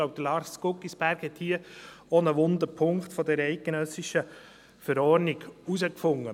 Ich glaube, Lars Guggisberg hat hier auch einen wunden Punkt dieser eidgenössischen Verordnung herausgefunden.